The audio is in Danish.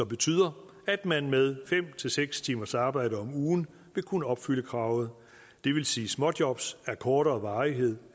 betyder at man med fem seks timers arbejde om ugen vil kunne opfylde kravet det vil sige at småjobs af kortere varighed